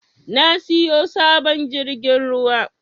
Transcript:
Ya siyo sabon jirgin ruwa